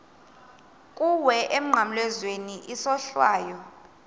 kuwe emnqamlezweni isohlwayo